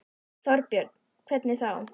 Þorbjörn: Hvernig þá?